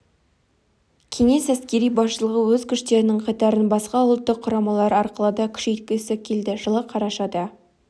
кеңес әскери басшылығы өз күштерінің қатарын басқа ұлттық құрамалар арқылы да күшейткісі келді жылы қарашада